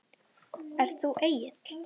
Ert þú Egill?